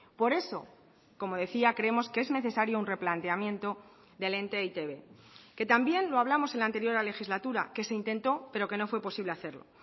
por eso como decía creemos que es necesario un replanteamiento del ente e i te be que también lo hablamos en la anterior legislatura que se intentó pero que no fue posible hacerlo